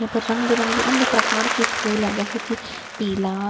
यहाँ पर रंग बिरंगी अन्य प्रकार के फूल हैं जैसा की पीला गुला --